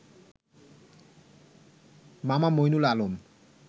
মামা মঈনুল আলম